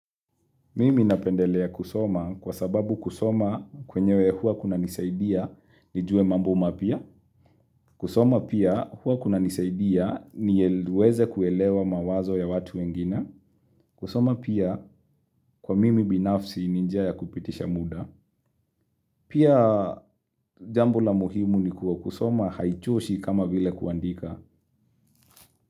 Mimi napendelea kusoma kwa sababu kusoma kwenyewe hua kunanisaidia nijue mambo mapya. Kusoma pia hua kuna nisaidia niweze kuelewa mawazo ya watu wengine. Kusoma pia kwa mimi binafsi ni njia ya kupitisha muda. Pia jambo la muhimu ni kua kusoma haichoshi kama vile kuandika.